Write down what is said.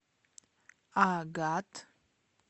агат